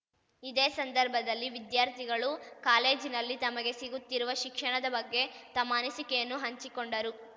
ಇದೇ ಸಂದರ್ಭದಲ್ಲಿ ವಿದ್ಯಾರ್ಥಿಗಳು ಕಾಲೇಜಿನಲ್ಲಿ ತಮಗೆ ಸಿಗುತ್ತಿರುವ ಶಿಕ್ಷಣದ ಬಗ್ಗೆ ತಮ್ಮ ಅನಿಸಿಕೆಯನ್ನು ಹಂಚಿಕೊಂಡರು